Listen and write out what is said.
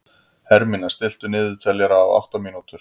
Hermína, stilltu niðurteljara á átta mínútur.